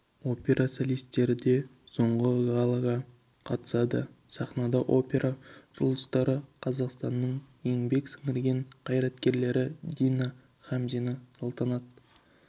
опера солистері де соңғы галаға қатысады сахнада опера жұлдыздары қазақстанның еңбек сіңірген қайраткерлері дина хамзина салтанат